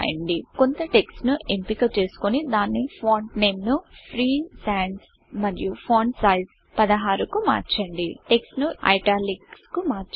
కొంత టెక్స్ట్ ను ఎంపిక చేసుకొని దాని ఫాంట్ నేమ్ ను ఫ్రీ సాన్స్ మరియు ఫాంట్ సైజ్ 16 కు మార్చండి టెక్స్ట్ ను Italicsఐట్యాలిక్స్ కు మార్చండి